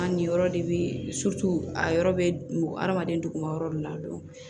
A ni yɔrɔ de bɛ a yɔrɔ bɛ adamaden duguma yɔrɔ dɔ la